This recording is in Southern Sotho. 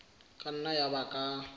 ka nna ya ba ka